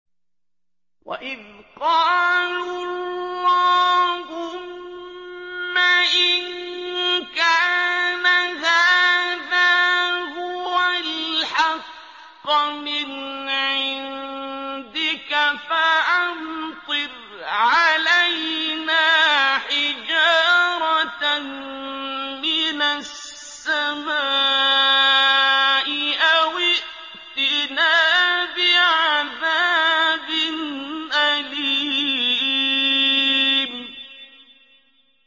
وَإِذْ قَالُوا اللَّهُمَّ إِن كَانَ هَٰذَا هُوَ الْحَقَّ مِنْ عِندِكَ فَأَمْطِرْ عَلَيْنَا حِجَارَةً مِّنَ السَّمَاءِ أَوِ ائْتِنَا بِعَذَابٍ أَلِيمٍ